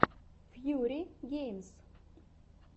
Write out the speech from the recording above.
фьюри геймс